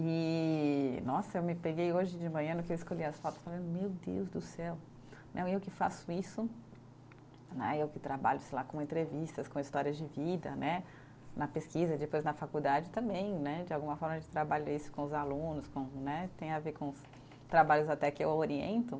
E, nossa, eu me peguei hoje de manhã, no que eu escolhi as fotos, falando, meu Deus do céu, não, eu que faço isso né, eu que trabalho, sei lá, com entrevistas, com histórias de vida né, na pesquisa, depois na faculdade também né, de alguma forma a gente trabalha isso com os alunos com, né, tem a ver com os trabalhos até que eu oriento.